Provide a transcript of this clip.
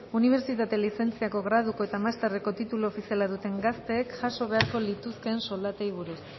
unibertsitate lizentziako graduko eta masterreko titulu ofiziala duten gazteek jaso beharko lituzketen soldatei buruz